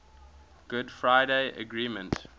good friday agreement